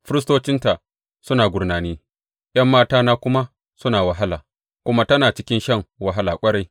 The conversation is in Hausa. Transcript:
Firistocinta suna gurnani, ’yan matana kuma suna wahala, kuma tana cikin shan wahala ƙwarai.